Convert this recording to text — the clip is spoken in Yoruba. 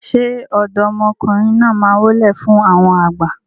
ṣe ọ̀dọ́mọkùnrin náà má wólẹ̀ fún àwọn àgbà?